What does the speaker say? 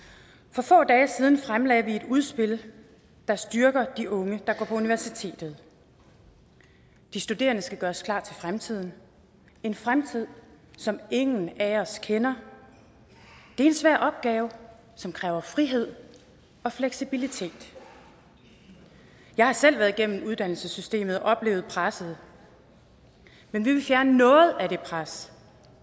for få dage siden fremlagde vi et udspil der styrker de unge der går på universitetet de studerende skal gøres klar til fremtiden en fremtid som ingen af os kender det er en svær opgave som kræver frihed og fleksibilitet jeg har selv været igennem uddannelsessystemet og oplevet presset men vi vil fjerne noget af det pres